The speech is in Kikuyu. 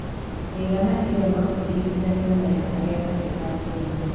Mĩigana ĩyo no ĩringithanio na ya arĩa angĩ a Kenya.